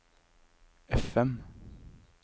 FM